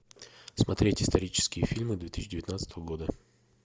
смотреть исторические фильмы две тысячи девятнадцатого года